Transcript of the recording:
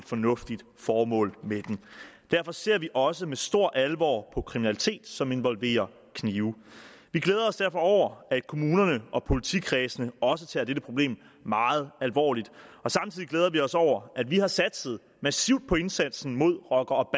fornuftigt formål med det derfor ser vi også med stor alvor på kriminalitet som involverer knive vi glæder os derfor over at kommunerne og politikredsene også tager dette problem meget alvorligt samtidig glæder vi os over at vi har satset massivt på indsatsen mod rocker og